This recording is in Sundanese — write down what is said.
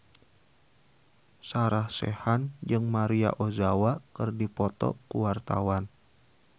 Sarah Sechan jeung Maria Ozawa keur dipoto ku wartawan